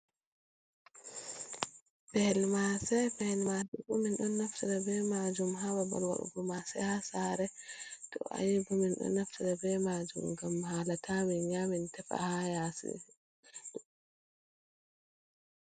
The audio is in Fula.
Pehel maase, pehel maase bo min ɗon naftira be majum ha babal waɗugo maase ha saare, to ayibo min ɗon naftira be majum ngam haala ta min nyamin tefa ha yaasi.